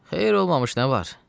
Xeyir olmamış nə var?